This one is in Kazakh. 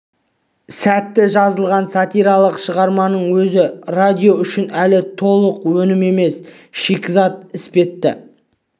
сәтті жазылған сатиралық шығарманың өзі радио үшін әлі толық өнім емес шикізат іспетті